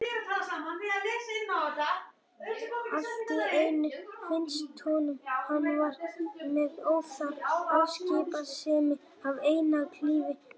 Allt í einu finnst honum hann vera með óþarfa afskiptasemi af einkalífi hennar.